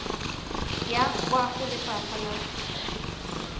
ya kwa go lefapha la